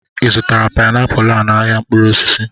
Ị zụtara painiapulu a n'ahịa mkpụrụ osisi?